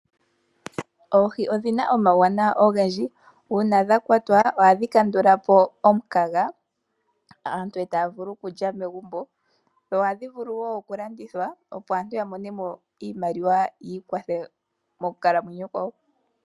Oohi odhina omawuwanawa ogendji. Uuna dha kwatwa ohadhi kandula po omukaga aantu eta ya vulu okulya megumbo. Oha dhi vulu woo okulandithwa opo aantu ya mone mo iimaliwa yi ikwathe moku kalamaenyo kwayo.